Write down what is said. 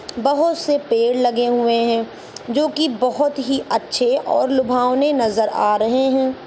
बहोत से पेड़ लगे हुए हैं जो कि बहोत ही अच्छे और लुभावने नजर अ रहे हैं।